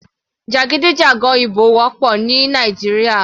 Jàgídíjàgan ìbò wọ́pọ̀ ní Nàìjíríà.